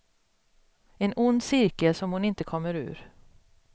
En ond cirkel som hon inte kommer ur.